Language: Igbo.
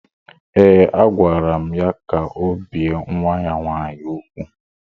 Ee, agwara m ya ka o bie nwa ya nwaanyị úgwù